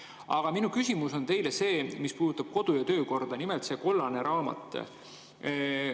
Aga minu küsimus puudutab kodu‑ ja töökorda, nimelt seda kollast raamatut.